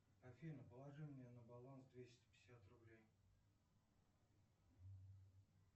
афина положи мне на баланс двести пятьдесят рублей